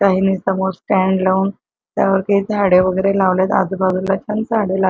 काहींनी समोर स्टँड लावून त्यावरती झाड वगैरे लावले आजूबाजूला छान झाड ला--